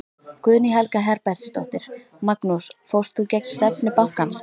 Guðný Helga Herbertsdóttir: Magnús fórst þú gegn stefnu bankans?